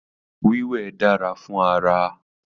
Wíwẹ̀ dára fún ara